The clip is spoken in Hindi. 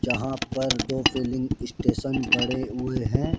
जहां पर दो फिलिंग स्टेशन बड़े हुए हैं।